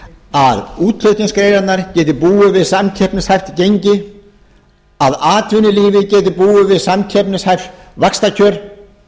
að útflutningsgreinarnar geti búið við samkeppnishæft gengi að atvinnulífið geti búið við samkeppnishæf vaxtakjör